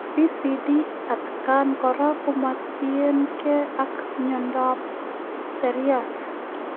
PCD atkaang koraa komatinyegei ak miondoop siryaat